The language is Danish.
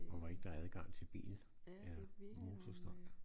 Og hvor ikke der er adgang til bil eller motorstøj